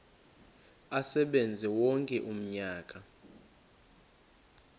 asebenze wonke umnyaka